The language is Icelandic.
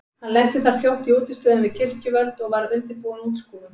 Hann lenti þar fljótt í útistöðum við kirkjuvöld og var undirbúin útskúfun.